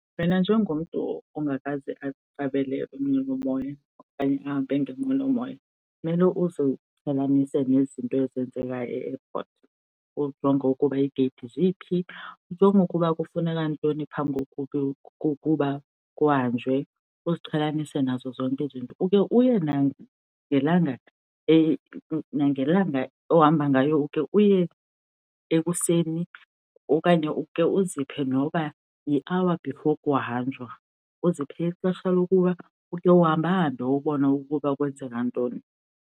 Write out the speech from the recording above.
Wena njengomntu ongekaze aqabele inqwelomoya okanye ahambe ngenqwelomoya kumele uziqhelanise nezinto ezenzeka e-airport, ujonge ukuba iigeyithi ziphi. Ujonge ukuba kufuneka ntoni phambi kokuba kuhanjwe, uziqhelanise nazo zonke izinto. Ukhe uye nagelanga, nangelanga ohamba ngayo ukhe uye ekuseni okanye ukhe uziphe noba yi-hour before kuhanjwa, uziphe ixesha lokuba ukhe uhambe ahambe ubone ukuba kwenzeka ntoni.